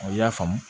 Aw y'a faamu